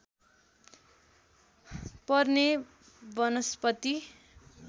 पर्ने वनस्पति